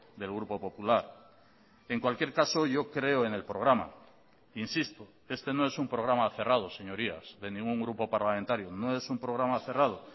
del grupo popular en cualquier caso yo creo en el programa insisto este no es un programa cerrado señorías de ningún grupo parlamentario no es un programa cerrado